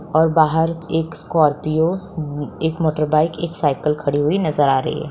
और बाहर एक स्कॉर्पियो उम एक मोटरबाइक एक साइकिल खड़ी हुई नजर आ रही है।